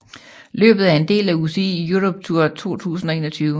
Løbet er en del af UCI Europe Tour 2021